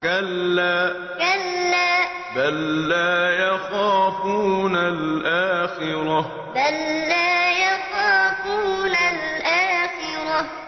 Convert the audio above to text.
كَلَّا ۖ بَل لَّا يَخَافُونَ الْآخِرَةَ كَلَّا ۖ بَل لَّا يَخَافُونَ الْآخِرَةَ